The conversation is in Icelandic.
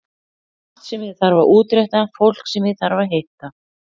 Margt sem ég þarf að útrétta, fólk sem ég þarf að hitta.